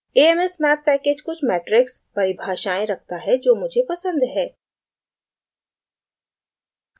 a m s math package कुछ matrix परिभाषाएं रखता है जो मुझे पसंद है